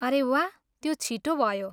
अरे, वाह, त्यो छिटो भयो!